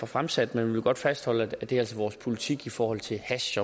fremsat men vi vil godt fastholde at det altså er vores politik i forhold til hash